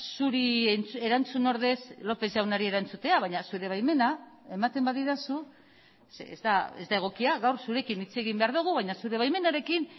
zuri erantzun ordez lópez jaunari erantzutea baina zure baimena ematen badidazu ez da egokia gaur zurekin hitz egin behar dugu baina zure baimenarekin